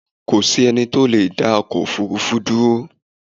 Kò sí ẹnì tó leedá ọkọ̀ òfurufú dúró